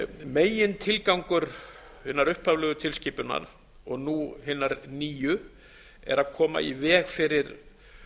megintilgangur hinnar upphaflegu tilskipunar og nú hinnar nýju er að koma í veg fyrir